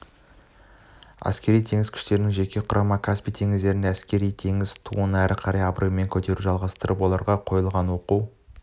әскери-теңіз күштерінің жеке құрамы каспий теңізінде әскери-теңіз туын әрі қарай абыроймен көтеруді жалғастырып оларға қойылған оқу